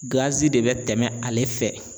de bɛ tɛmɛ ale fɛ.